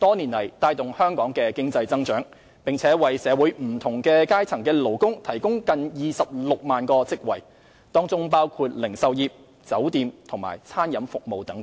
多年來帶動香港的經濟增長，並為社會不同階層的勞工提供近26萬個職位，當中包括零售業、酒店及餐飲服務等。